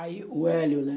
Aí... O Hélio, né?